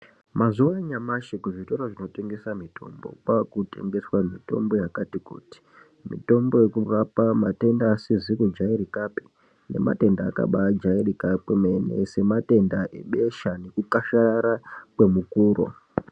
Mazuwa anyamashi kuzvitoro zvinotengeswe mitombo, kwakutengeswa mitombo yakati kuti. Mitombo yekurapa pamatenda asizi kujairikapi, nematenda akabaajairika kwemene sematenda ebesha nekukasharara kwemukuro.